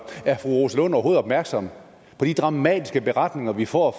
er fru rosa lund overhovedet opmærksom på de dramatiske beretninger vi får